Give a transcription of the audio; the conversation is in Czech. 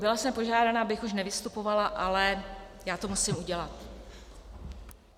Byla jsem požádána, abych už nevystupovala, ale já to musím udělat.